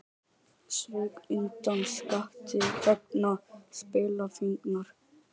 Sveik undan skatti vegna spilafíknar